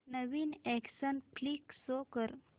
नवीन action flick show कर